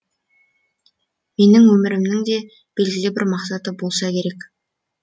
менің өмірімнің де белгілі бір мақсаты болса керек